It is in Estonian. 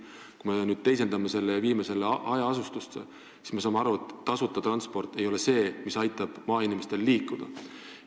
Kui me nüüd teisendame ja viime selle hajaasustusega alale, siis me saame aru, et tasuta transport ei ole see, mis aitab maainimestel liikuda.